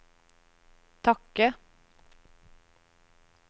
takke